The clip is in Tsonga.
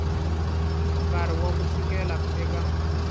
nkarhi wa ku fikela eka